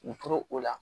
U tora o la